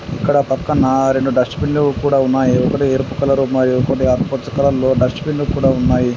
ఇక్కడ పక్కన రెండు డస్ట్ బిన్‌ లు కూడా ఉన్నాయి. ఒకటి ఎరుపు కలర్ లో ఉన్నాయి కొన్ని ఆకుపచ్చ కలర్ లో డస్ట్ బిన్‌ లు కూడా ఉన్నాయి.